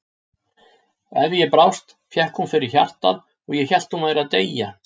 Ef ég brást fékk hún fyrir hjartað og ég hélt að hún væri að deyja.